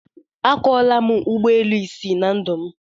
Akwọọla m ụgbọelu isii na ndụ m